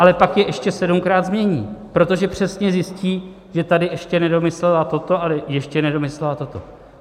Ale pak je ještě sedmkrát změní, protože přesně zjistí, že tady ještě nedomyslela toto a ještě nedomyslela toto.